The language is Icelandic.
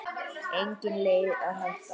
Engin leið að hætta.